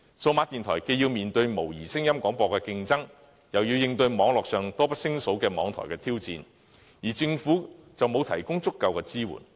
數碼電台既要面對模擬聲音廣播的競爭，又要應對網絡上多不勝數的網台挑戰，政府且沒有提供足夠支援。